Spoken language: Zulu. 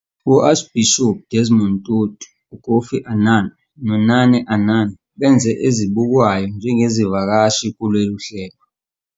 U-Archbishop Desmond Tutu, uKofi Annan, noNane Annan benze ezibukwayo njengezivakashi kulolu hlelo.